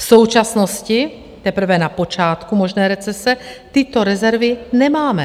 V současnosti, teprve na počátku možné recese, tyto rezervy nemáme.